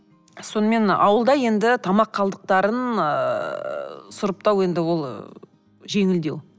сонымен ауылда енді тамақ қалдықтарын ы сұрыптау енді ол ы жеңілдеу